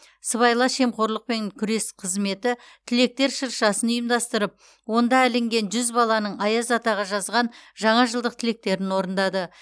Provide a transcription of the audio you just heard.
сыбайлас жемқорлыпен күрес қызметі тілектер шыршасын ұйымдастырып онда ілінген жүз баланың аяз атаға жазған жаңа жылдық тілектерін орындады